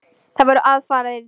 Það voru aðfarir í lagi!